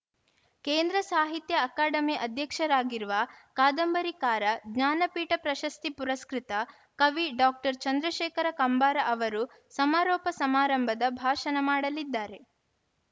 ಕೇಂದ್ರ ಸಾಹಿತ್ಯ ಅಕಾಡಮಿ ಅಧ್ಯಕ್ಷರಾಗಿರುವ ಕಾದಂಬರಿಕಾರ ಜ್ಞಾನಪೀಠ ಪ್ರಶಸ್ತಿ ಪುರಸ್ಕೃತ ಕವಿ ಡಾಕ್ಟರ್ ಚಂದ್ರಶೇಖರ ಕಂಬಾರ ಅವರು ಸಮಾರೋಪ ಸಮಾರಂಭದ ಭಾಷಣ ಮಾಡಲಿದ್ದಾರೆ